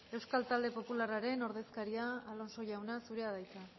euskal talde popularraren ordezkaria alonso jauna zurea da hitza